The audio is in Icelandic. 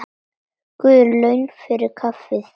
Guð laun fyrir kaffið.